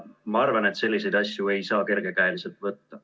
Ma arvan, et selliseid asju ei saa kergekäeliselt võtta.